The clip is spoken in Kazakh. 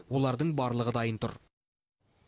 олардың барлығы дайын тұр